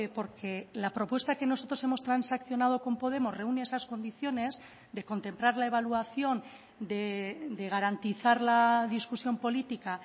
porque la propuesta que nosotros hemos transaccionado con podemos reúne esas condiciones de contemplar la evaluación de garantizar la discusión política